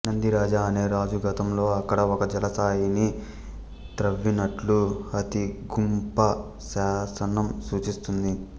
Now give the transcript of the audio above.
నందిరాజ అనే రాజు గతంలో అక్కడ ఒక జలాశయాన్ని త్రవ్వినట్లు హతిగుంప శాసనం సూచిస్తుంది